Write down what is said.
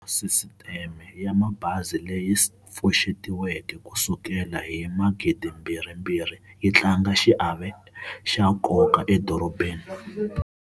Sisiteme ya mabazi leyi pfuxetiweke ku sukela hi 2002 yi tlanga xiave xa nkoka edorobeni.